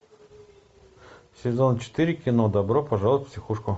сезон четыре кино добро пожаловать в психушку